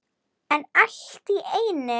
En allt í einu.